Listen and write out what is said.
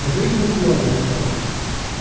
жить не сможем что ли